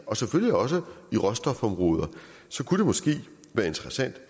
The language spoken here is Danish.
og selvfølgelig også i råstofområdet så kunne det måske være interessant